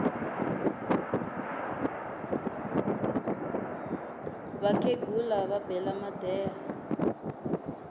vakhegula va bela madeha